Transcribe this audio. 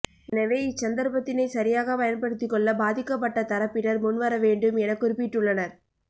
எனவே இச் சந்தர்ப்பத்தினை சரியாகப் பயன்படுத்திக்கொள்ள பாதிக்கப்பட்ட தரப்பினர் முன்வரவேண்டும் என குறிப்பிட்டுள்ளனர